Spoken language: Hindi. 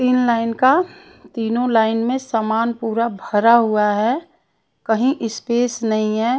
तीन लाइन का तीनों लाइन में सामान पूरा भरा हुआ है कहीं स्पेस नहीं है।